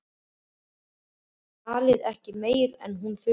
Talaði ekki meira en hún þurfti.